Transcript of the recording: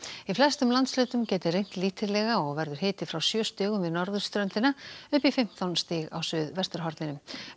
í flestum landshlutum gæti rignt lítillega og verður hiti frá sjö stigum við norðurströndina upp í fimmtán stig á suðvesturhorninu